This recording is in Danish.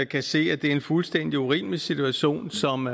kan se at det er en fuldstændig urimelig situation som